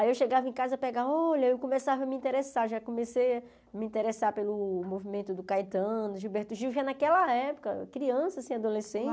Aí eu chegava em casa e pegava, olha, eu começava a me interessar, já comecei a me interessar pelo movimento do Caetano, Gilberto Gil, já naquela época, criança assim, adolescente.